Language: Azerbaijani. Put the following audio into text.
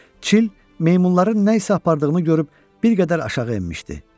Çil meymunların nəsə apardığını görüb bir qədər aşağı enmişdi.